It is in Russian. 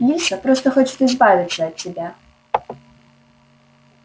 лиса просто хочет избавиться от тебя